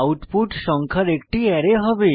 output সংখ্যার একটি array হবে